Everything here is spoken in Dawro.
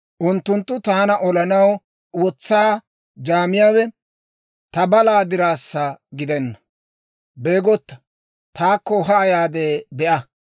Unttunttu taana olanaw wotsaa jaamiyaawe, ta balaa diraassa gidenna. Beegotta, taakko haa yaade be'a.